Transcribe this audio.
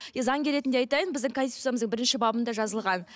заңгер ретінде айтайын біздің конституциямызда бірінші бабында жазылған